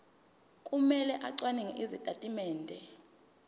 kumele acwaninge izitatimende